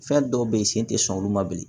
Fɛn dɔw be yen sen tɛ sɔn olu ma bilen